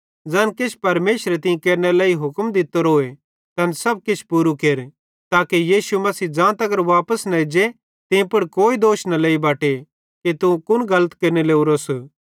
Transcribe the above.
ज़ैन किछ परमेशरे तीं केरनेरे लेइ हुक्म दित्तोरो तैन सब किछ पूरू केर ताके यीशु मसीह ज़ांतगर वापस न एज्जे तीं पुड़ कोई दोष न लेई बटे तू कुन गलत केरने लोरोस